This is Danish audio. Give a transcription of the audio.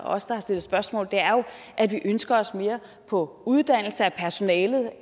os der har stillet spørgsmål er jo at vi ønsker os mere på uddannelse af personalet